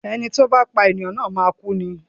Ẹni tí ó bá pá ènìyàn na máa kú ni.